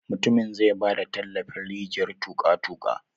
Mutumin zai ba da tallafin rijiyar tuƙa-tuƙa.